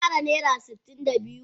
Kin ara naira sitin da biyu?